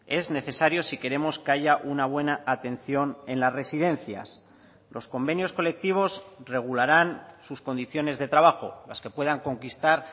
es necesario si queremos que haya una buena atención en las residencias los convenios colectivos regularán sus condiciones de trabajo las que puedan conquistar